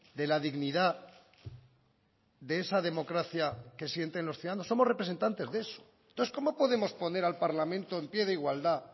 de la dignidad de esa democracia que sienten los ciudadanos somos representantes de eso entonces cómo podemos poner al parlamento en pie de igualdad